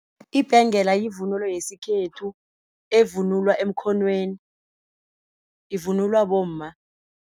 Ibhengela yivunulo yesikhethu evunulwa emkhonweni ivunulwa bomma.